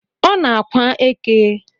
Ọ na-ákwà eke